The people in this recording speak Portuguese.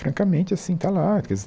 Francamente, assim, está lá.